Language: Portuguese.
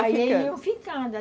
A gente ia ficando.